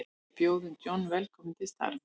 Við bjóðum John velkominn til starfa.